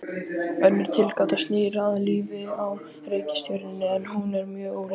Önnur tilgáta snýr að lífi á reikistjörnunni, en hún er mun ólíklegri.